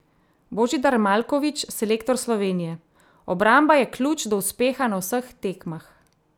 Božidar Maljković, selektor Slovenije: "Obramba je ključ do uspeha na vseh tekmah.